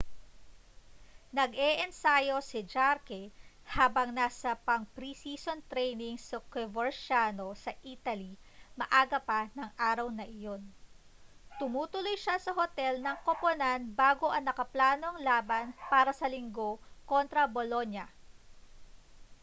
nag-eensayo si jarque habang nasa pang-pre-season training sa coverciano sa italy maaga pa nang araw na iyon tumutuloy siya sa hotel ng koponan bago ang nakaplanong laban para sa linggo kontra bolonia